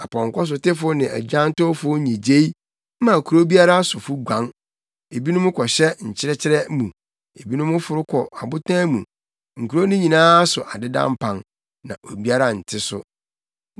Apɔnkɔsotefo ne agyantowfo nnyigyei ma kurow biara sofo guan. Ebinom kɔhyɛ nkyɛkyerɛ mu, ebinom foro kɔ abotan mu. Nkurow no nyinaa so adeda mpan; na obiara nte so.